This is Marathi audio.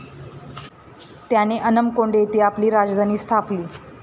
त्याने अनमकोंड येथे आपली राजधानी स्थापली.